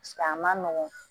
a ma nɔgɔn